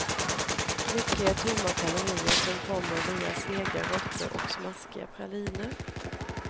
Mycket är tomma kalorier som kommer via sega råttor och smaskiga praliner.